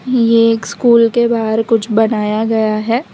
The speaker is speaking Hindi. ये एक स्कूल के बाहर कुछ बनाया गया है।